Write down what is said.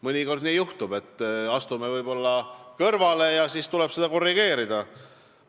Mõnikord nii juhtub, et astume võib-olla kõrvale ja siis tuleb seda teekonda korrigeerida.